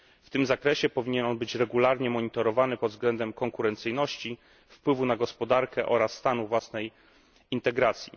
W tym zakresie powinien on być regularnie monitorowany pod względem konkurencyjności, wpływu na gospodarkę oraz stanu własnej integracji.